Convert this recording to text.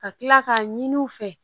Ka kila k'a ɲini u fɛ